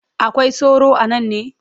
Akwai sauro a nan ne?